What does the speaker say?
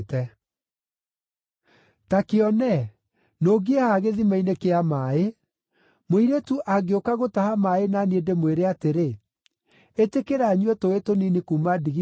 Ta kĩone, nũngiĩ haha gĩthima-inĩ kĩa maaĩ; mũirĩtu angĩũka gũtaha maaĩ na niĩ ndĩmwĩre atĩrĩ, “Ĩtĩkĩra nyue tũũĩ tũnini kuuma ndigithũ-inĩ yaku,”